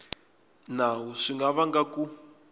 nawu swi nga vanga ku